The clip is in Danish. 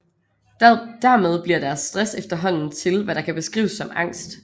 Dermed bliver deres stress efterhånden til hvad der kan beskrives som angst